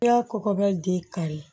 I y'a kɔkɔbiya den kari